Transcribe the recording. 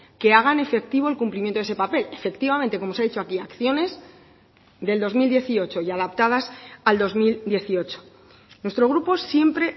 que hagan efectivo el cumplimiento de ese papel efectivamente como se ha dicho aquí acciones del dos mil dieciocho y adaptadas al dos mil dieciocho nuestro grupo siempre